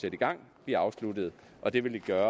i gang bliver afsluttet og det vil det